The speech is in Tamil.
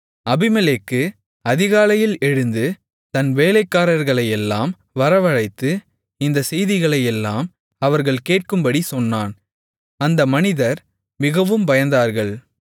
அபிமெலேக்கு அதிகாலையில் எழுந்து தன் வேலைக்காரரையெல்லாம் வரவழைத்து இந்தச் செய்திகளையெல்லாம் அவர்கள் கேட்கும்படி சொன்னான் அந்த மனிதர் மிகவும் பயந்தார்கள்